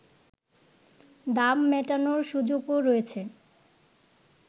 দাম মেটানোর সুযোগও রয়েছে